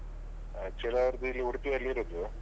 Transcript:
Actually ಅವರ್ದು ಇಲ್ಲಿ ಉಡ್ಪಿಯಲ್ಲಿರುದು.